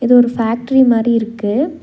இது ஒரு ஃபேக்டரி மாரி இருக்கு.